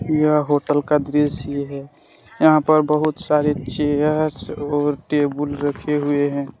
यह होटल का दृश्य है यहाँ पर बहुत सारी चेयर्स और टेबुल रखे हुए हैं।